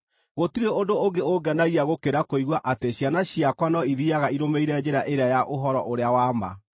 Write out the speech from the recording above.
Gũtirĩ ũndũ ũngĩ ũngenagia gũkĩra kũigua atĩ ciana ciakwa no ithiiaga irũmĩrĩire njĩra ĩrĩa ya ũhoro ũrĩa wa ma.